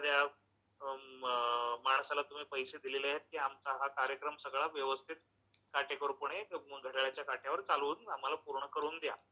कुठल्या तरी एखाद्या अं, माणसाला तुम्ही पैशे दिलेले आहेत की आमचा सगळा हा कार्यक्रम व्यवस्थित काटेकोरपणे घड्याळ्याच्या काट्यावर चालवून आम्हाला पूर्ण करून द्या.